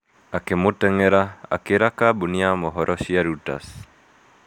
Ngimuteng'era " akĩĩra kambuni ya mohoro cĩa Reuters .